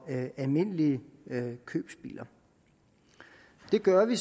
almindelige købebiler det gør vi